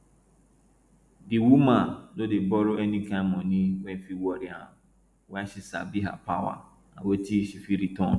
di woman no dey borrow any kain money wey fit worry am why she sabi her power and wetin she fit return